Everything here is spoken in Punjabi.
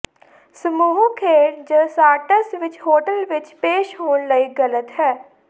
ਸਮੂਹ ਖੇਡ ਜ ਸ਼ਾਰਟਸ ਵਿੱਚ ਹੋਟਲ ਵਿਚ ਪੇਸ਼ ਹੋਣ ਲਈ ਗ਼ਲਤ ਹੈ